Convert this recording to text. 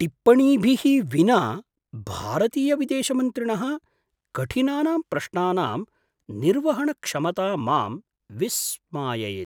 टिप्पणीभिः विना भारतीयविदेशमन्त्रिणः कठिनानां प्रश्नानां निर्वहणक्षमता मां विस्माययति।